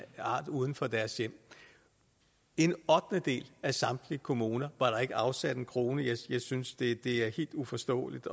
art uden for deres hjem i en ottendedel af samtlige kommuner var der ikke afsat en krone jeg synes det er helt uforståeligt